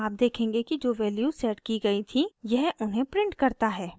आप देखेंगे कि जो वैल्यूज़ सेट की गयी थीं यह उन्हें प्रिंट करता है